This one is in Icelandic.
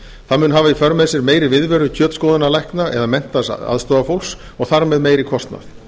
það mun hafa í för með sér meiri viðveru kjötskoðunarlækna eða menntaðs aðstoðarfólks og þar með meiri kostnað